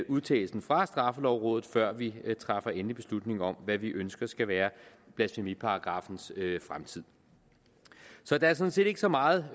udtalelsen fra straffelovrådet før vi træffer endelig beslutning om hvad vi ønsker skal være blasfemiparagraffens fremtid så der er sådan set ikke så meget